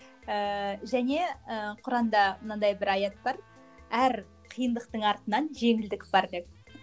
ііі және і құранда мынандай бір аят бар әр қиындықтың артынан жеңілдік бар деп